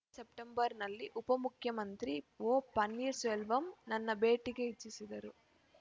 ಕಳೆದ ಸೆಪ್ಟೆಂಬರ್‌ನಲ್ಲಿ ಉಪಮುಖ್ಯಮಂತ್ರಿ ಒ ಪನ್ನೀರಸೆಲ್ವಂ ನನ್ನ ಭೇಟಿಗೆ ಇಚ್ಛಿಸಿದ್ದರು